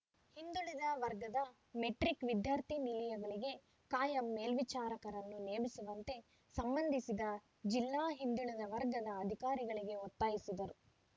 ಹಿಂದುಳಿದ ವರ್ಗದ ಮೆಟ್ರಿಕ್‌ ವಿದ್ಯಾರ್ಥಿ ನಿಲಯಗಳಿಗೆ ಕಾಯಂ ಮೇಲ್ವಿಚಾರಕರನ್ನು ನೇಮಿಸುವಂತೆ ಸಂಬಂಧಿಸಿದ ಜಿಲ್ಲಾ ಹಿಂದುಳಿದ ವರ್ಗದ ಅಧಿಕಾರಿಗಳಿಗೆ ಒತ್ತಾಯಿಸಿದರು